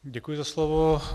Děkuji za slovo.